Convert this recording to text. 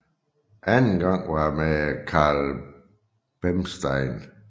Anden gang var med Carl Bernstein